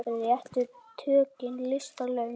Réttu tökin lista laun.